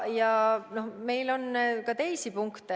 Ja meil on ka teisi punkte.